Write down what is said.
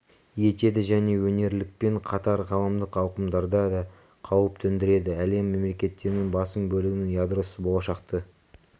етеді және өңірлікпен қатар ғаламдық ауқымдарда да қауіп төндіреді әлем мемлекеттерінің басым бөлігінің ядросыз болашақты